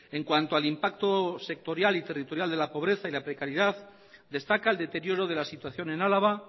en cuanto al impacto sectorial y territorial de la pobreza y la precariedad destaca el deterioro de la situación en álava